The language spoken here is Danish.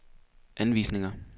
anvisninger